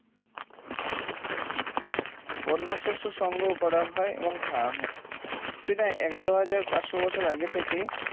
বন্য শস্য সংগ্রহ করা হয় এবং খাওয়া হয় প্রায় এগার হাজার পাঁচশ বছর আগে থেকে